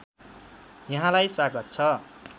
यहाँलाई स्वागत छ